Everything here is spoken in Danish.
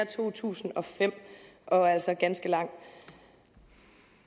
to tusind og fem og altså er ganske lang